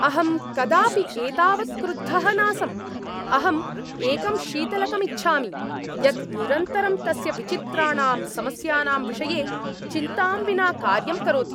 अहं कदापि एतावत् क्रुद्धः नासम्। अहम् एकं शीतलकम् इच्छामि यत् निरन्तरं तस्य विचित्राणां समस्यानां विषये चिन्तां विना कार्यं करोति!